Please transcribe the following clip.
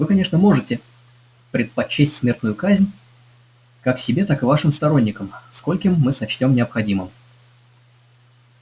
вы конечно можете предпочесть смертную казнь как себе так и вашим сторонникам скольким мы сочтём необходимым